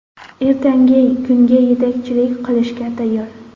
Ertangi kunga yetakchilik qilishga tayyor.